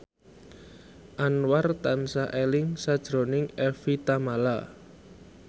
Anwar tansah eling sakjroning Evie Tamala